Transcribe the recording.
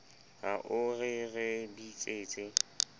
ha o re re bitsetse